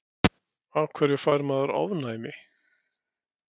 Af hverju fær maður ofnæmi?